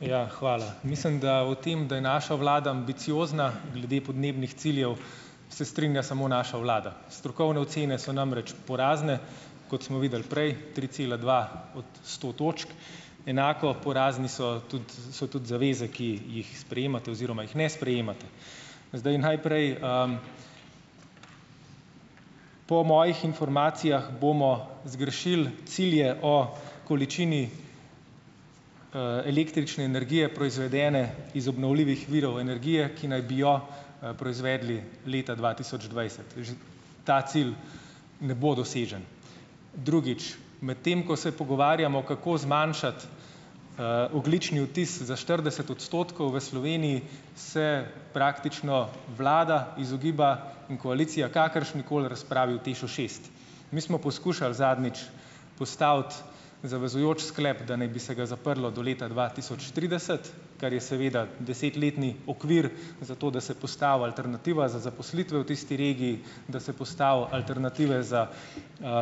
Ja, hvala. Mislim, da o tem, da je naša vlada ambiciozna glede podnebnih ciljev, se strinja samo naša vlada. Strokovne ocene so namreč porazne, kot smo videli prej, tri cela dva od sto točk. Enako porazne so tudi so tudi zaveze, ki jih sprejemate oziroma jih ne sprejemate. Zdaj najprej, ... Po mojih informacijah bomo zgrešili cilje o količini, električne energije, proizvedene iz obnovljivih virov energije, ki naj bi jo, proizvedli leta dva tisoč dvajset; že ta cilj ne bo dosežen. Drugič, medtem ko se pogovarjamo, kako zmanjšati, ogljični odtis za štirideset odstotkov v Sloveniji, se praktično vlada izogiba in koalicija kakršnikoli razprave o TEŠ-u šest. Mi smo poskušali zadnjič postaviti zavezujoč sklep, da naj bi se ga zaprlo do leta dva tisoč trideset, kar je seveda desetletni okvir za to, da se postavi alternativa za zaposlitve v tisti regiji, da se postavi alternative za,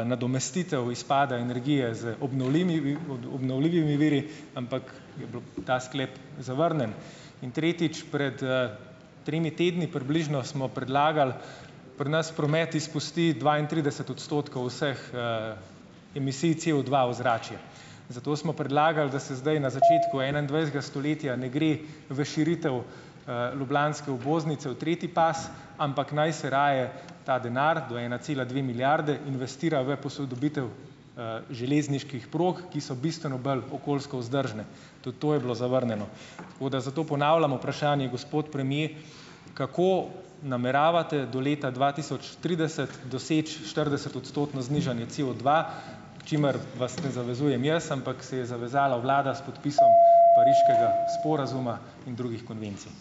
nadomestitev izpada energije z obnovljivimi viri, ampak je bilo ta sklep zavrnjen. In tretjič. Pred, tremi tedni približno smo predlagali - pri nas promet izpusti dvaintrideset odstotkov vseh, emisij COdva v ozračje, zato smo predlagali, da se zdaj na začetku enaindvajsetega stoletja ne gre v širitev, ljubljanske obvoznice v tretji pas, ampak naj se raje ta denar do ena cela dve milijarde, investira v posodobitev, železniških prog, ki so bistveno bolj okoljsko vzdržne. Tudi to je bilo zavrnjeno. Tako da zato ponavljamo vprašanje, gospod premier, kako nameravate do leta dva tisoč trideset doseči štiridesetodstotno znižanje COdva, k čemur vas ne zavezujem jaz, ampak se je zavezala vlada s podpisom pariškega sporazuma in drugih konvencij.